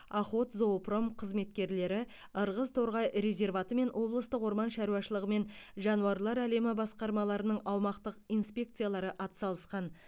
охотзоопром қызметкерлері ырғыз торғай резерваты мен облыстық орман шаруашылығы мен жануарлар әлемі басқармаларының аумақтық инспекциялары атсалысқан